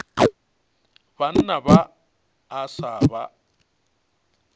banna ba a sa ba